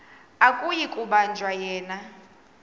akuyi kubanjwa yena